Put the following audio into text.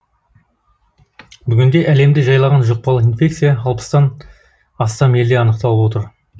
бүгінде әлемді жайлаған жұқпалы инфекция алпыстан астам елде анықталып отыр